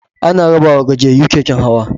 Ana rabawa gajiyayyu keken hawa.